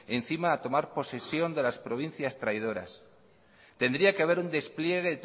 encima a tomar posesión de las provincias traidoras tendrá que haber un despliegue